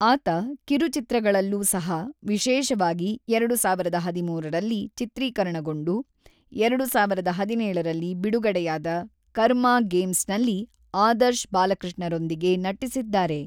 ಆತ ಕಿರುಚಿತ್ರಗಳಲ್ಲೂ ಸಹ, ವಿಶೇಷವಾಗಿ, ಎರಡು ಸಾವಿರದ ಹದಿಮೂರರಲ್ಲಿ ಚಿತ್ರೀಕರಣಗೊಂಡು, ಎರಡು ಸಾವಿರದ ಹದಿನೇಳರಲ್ಲಿ ಬಿಡುಗಡೆಯಾದ ಕರ್ಮ ಗೇಮ್ಸ್‌ನಲ್ಲಿ ಆದರ್ಶ್ ಬಾಲಕೃಷ್ಣರೊಂದಿಗೆ ನಟಿಸಿದ್ದಾರೆ.